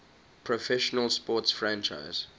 professional sports franchise